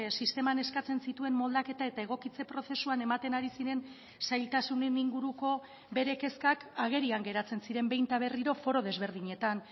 sisteman eskatzen zituen moldaketa eta egokitze prozesuan ematen ari ziren zailtasunen inguruko bere kezkak agerian geratzen ziren behin eta berriro foro desberdinetan